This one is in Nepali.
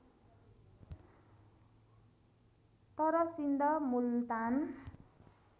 तर सिन्ध मुल्तान